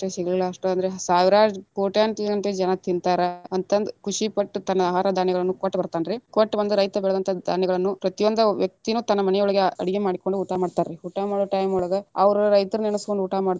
ಸಿಗ್ಲಿಲ್ಲಾ ಅಂದ್ರು ಅಷ್ಟೆ ಸಾವಿರಾರು ಕೊಟ್ಟ್ಯಾಂತರಗಂಟಲೆ ಜನಾ ತಿನ್ನತಾರ ಅಂತಂದ ಖುಷಿ ಪಟ್ಟ ತನ್ನ ಆಹಾರ ಧಾನ್ಯಗಳನ್ನೂ ಕೊಟ್ಟ ಬರತಾನ ರೀ, ಕೊಟ್ಟ ಬಂದ ರೈತ ಬೆಳೆದಂತ ಧಾನ್ಯಗಳು ಪ್ರತಿಒಂದ ವ್ಯಕ್ತಿ ನು ತನ್ನ ಮನಿ ಒಳಗ ಅಡಗಿ ಮಾಡ್ಕೊಂಡ ಊಟಾ ಮಾಡತಾರ್ ರೀ ಊಟಾ ಮಾಡು time ಒಳಗ ಅವ್ರು ರೈತರ ನೆನಸ್ಕೊಂಡ ಊಟಾ ಮಾಡ್ತಾರೊ.